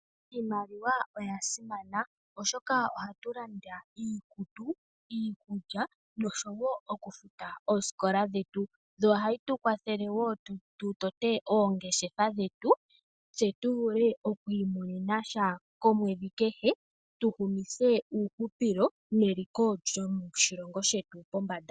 Iimaliwa oyasimana oshoka ohatu landa iikutu, iikulya noshowo okufuta ooskola dhetu, yo ohayi tukwathele woo tu tote ongeshefa dhetu tse tu vule okwiimone nasha komwedhi kehe tu humithe uuhupilo neliko lyoshilongo shetu pombanda.